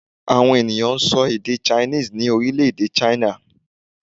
Àwọn ènìyàn n sọ èdè 'Chinese' ní Orílèdè 'China'